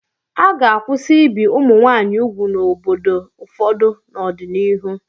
A ga-akwụsị ibi ụmụ nwaanyị úgwù n'obodo ụfọdụ n'ọdịnihu.